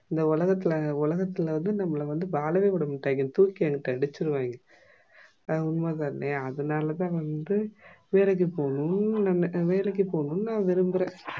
இந்த உஉலகத்துல வந்து நம்பலா வாழவே விடமாட்டாங்க வந்து தூக்கி எடுத்து அடிச்சிடுவாங்க அது உண்மைதானா அதுனாலதா வந்து நம்ப வேலைக்கு போனும்னு விரும்புற